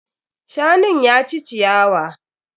Shanun ya ci ciyawa.